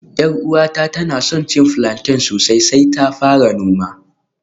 Yar uwata tana son plantain sosai sai ta fara noma